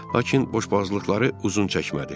Lakin boşboğazlıqları uzun çəkmədi.